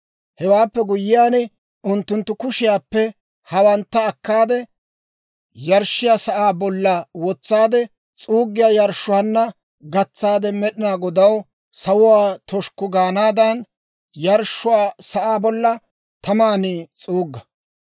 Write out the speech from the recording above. Hewaappe guyyiyaan unttunttu kushiyaappe hawantta akkaade, yarshshiyaa sa'aa bolla wotsaade, s'uuggiyaa yarshshuwaanna gatsaade, Med'inaa Godaw sawuwaa toshikku gaanaadan, yarshshiyaa sa'aa bolla taman s'uugga.